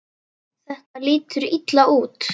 Þetta lítur illa út.